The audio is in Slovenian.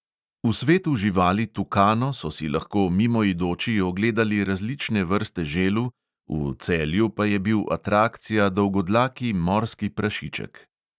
V svetu živali tukano so si lahko mimoidoči ogledali različne vrste želv, v celju pa je bil atrakcija dolgodlaki morski prašiček.